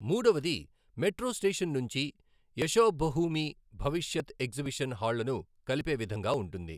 మూడవది metro station నుంచి యశోభహూమి భవిష్యత్ ఎగ్జిబిషన్ హాళ్లను కలిపే విధంగా ఉంటుంది.